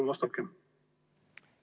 Palun vastake!